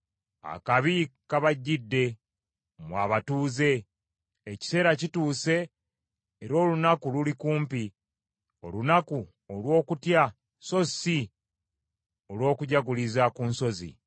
Akabi kabajjidde, mmwe abatuuze. Ekiseera kituuse era olunaku luli kumpi, olunaku olw’okutya so si olw’okujaguliriza ku nsozi.